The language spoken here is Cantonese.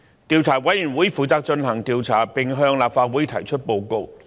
調查委員會負責進行調查，並向立法會提出報告。